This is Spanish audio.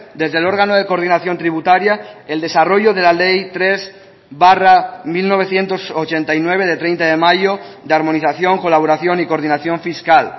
desde el órgano de coordinación tributaria el desarrollo de la ley tres barra mil novecientos ochenta y nueve de treinta de mayo de armonización colaboración y coordinación fiscal